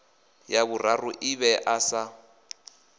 ya vhuraru i ḓivhea sa